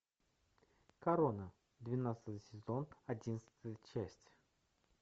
корона двенадцатый сезон одиннадцатая часть